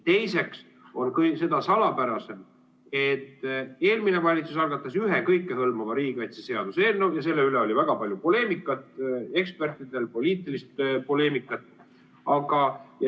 Teiseks on seda salapärasem, et eelmine valitsus algatas ühe kõikehõlmava riigikaitseseaduse eelnõu ja selle üle oli väga palju poleemikat, nii ekspertidel kui ka poliitilist poleemikat.